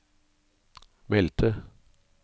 meldte